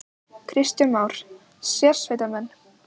Kristján Már: Sérsveitarmenn?